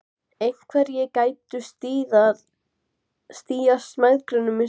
Einhverjir gætu stíað mæðgunum í sundur.